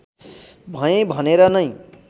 भएँ भनेर नै